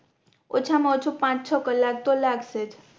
ઓછા મા ઓછું પાંચ છ કલાક તો લાગશે જ